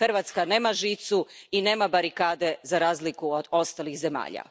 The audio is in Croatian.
Hrvatska nema žicu i nema barikade, za razliku od ostalih zemalja.